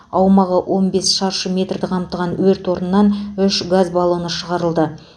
аумағы он бес шаршы метрді қамтыған өрт орнынан үш газ баллоны шығарылды